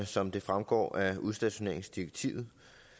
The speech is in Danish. som det fremgår af udstationeringsdirektivet